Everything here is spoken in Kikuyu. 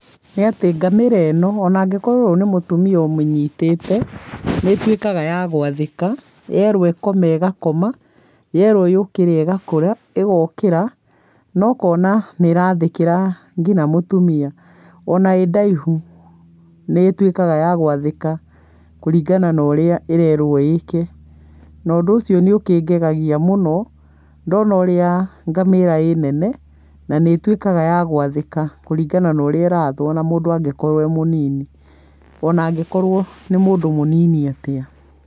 Nĩ atĩ ngamĩra ĩno onangĩkorwo nĩ mũtumia ũmĩnyĩtĩte, nĩtwĩkaga ya gwathĩka yerwo ikome ĩgakoma, yerwo yũkĩre igokĩre, nokona nĩrathĩkĩra nginya mũtumia. Ona ĩdaihu nĩ ĩtuĩkaga yagwathĩka yerwo ĩkĩ ũrĩa ĩrerwo ĩke, na ũndũ ũcio nĩ ũkĩngegagia mũno ndona ũrĩa ngamĩra ĩnene na nĩ twĩkaga yagwathĩka kũringana na ũrĩa ĩrathwo ona mũndũ e mũnini ona angĩkorwo nĩ mũndũ munini atĩa